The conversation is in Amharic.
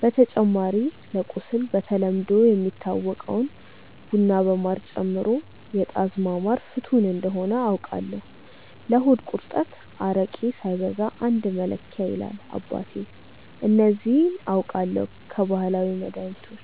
በተጨማሪ ለቁስል በተለምዶ የሚታወቀውን ቡና በማር ጨምሮ የጣዝማ ማር ፍቱን እንደሆነ አውቃለው። ለሆድ ቁርጠት አረቄ ሳይበዛ አንድ መለኪያ ይላል አባቴ። እነዚህ አውቃለው ከባህላዊ መድሀኒቶች።